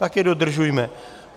Tak je dodržujme!